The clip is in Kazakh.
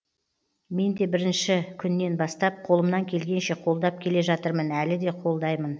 мен де бірінші күннен бастап қолымнан келгенше қолдап келе жатырмын әлі де қолдаймын